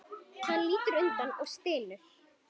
Hann lítur undan og stynur.